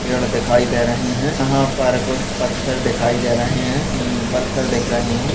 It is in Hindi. पेड़ दिखाई दे रहे है यहाँ पर कुछ पत्थर दिखाई दे रहे है मम पत्थर दिख रहे है।